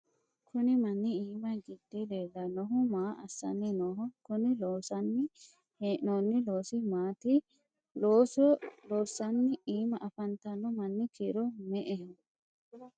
kuni manni iima gidde leellannoehu maa assanni nooho? kuni loonsanni hee'noonni loosi maati ? looso loossanni iima afantanno manni kiiro me''eho?